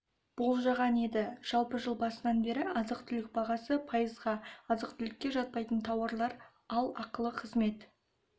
болжаған еді жалпы жыл басынан бері азық-түлік бағасы пайызға азық-түлікке жатпайтын тауарлар ал ақылы қызмет